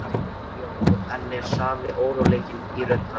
spyr Jón, og enn er sami óróleikinn í rödd hans.